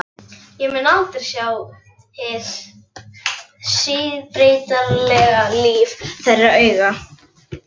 Ég mun aldrei sjá hið síbreytilega líf þeirra augum.